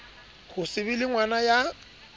ho se be lengwana ya